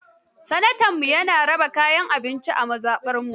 Sanatanmu ya raba kayan abinci a mazaɓarmu.